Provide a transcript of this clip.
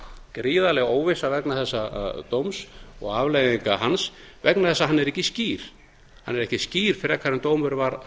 gríðarleg óvissa vegna þessa dóms og afleiðinga hans vegna þess að hann er ekki skýr hann er ekki skýr frekar en dómurinn var